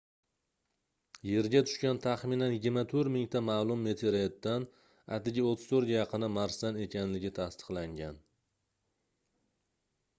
yerga tushgan taxminan 24 000 ta maʼlum meteoritdan atigi 34 ga yaqini marsdan ekanligi tasdiqlangan